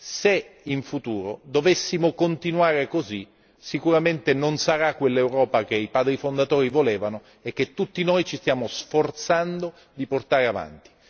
Se in futuro dovessimo continuare così, sicuramente non realizzeremo quell'Europa che i padri fondatori avevano sognato e che tutti noi ci stiamo sforzando di portare avanti.